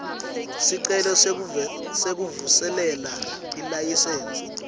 sicelo sekuvuselela ilayisensi